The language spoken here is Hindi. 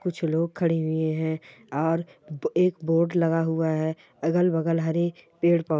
कुछ लोग खड़े हुए है और एक बोर्ड लगा हुआ है अगल-बगल हरे पेड़ पौ --